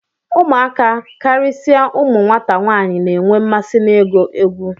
Ụmụaka, karịsịa ụmụ nwata nwaanyị na-enwe mmasị n'ịgụ egwu